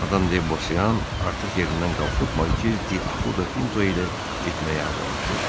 Madam Debosiyan artıq yerindən qalxıb Markiz Di Akuda Pinto ilə getməyə hazırlaşırdı.